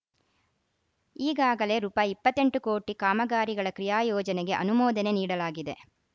ಈಗಾಗಲೇ ರೂಪಾಯಿ ಇಪ್ಪತ್ತ್ ಎಂಟು ಕೋಟಿ ಕಾಮಗಾರಿಗಳ ಕ್ರಿಯಾ ಯೋಜನೆಗೆ ಅನುಮೋದನೆ ನೀಡಲಾಗಿದೆ